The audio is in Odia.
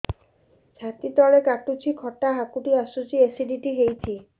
ଛାତି ତଳେ କାଟୁଚି ଖଟା ହାକୁଟି ଆସୁଚି ଏସିଡିଟି ହେଇଚି